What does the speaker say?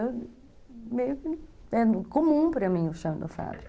Meio que é comum para mim o chão da fábrica.